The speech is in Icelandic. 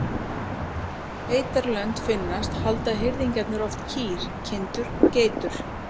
Þar sem beitarlönd finnast halda hirðingjarnir oft kýr, kindur og geitur.